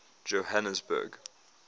johanesburg